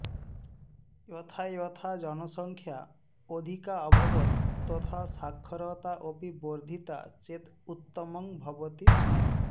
यथा यथा जनसङ्ख्या अधिकाऽभवत् तथा साक्षरता अपि वर्धिता चेत् उत्तमं भवति स्म